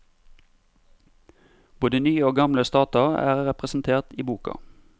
Både nye og gamle stater er representert i boka.